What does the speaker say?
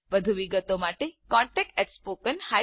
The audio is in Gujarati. વધુ વિગતો માટે contactspoken tutorialorg પર સંપર્ક કરો